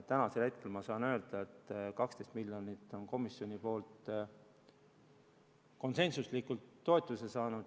Tänasel hetkel ma saan öelda, et 12 miljonit on saanud komisjoni konsensusliku toetuse.